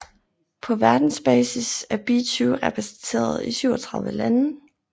På verdensbasis er be2 repræsenteret i 37 lande